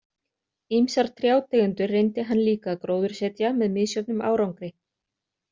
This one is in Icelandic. Ýmsar trjátegundir reyndi hann líka að gróðursetja með misjöfnum árangri.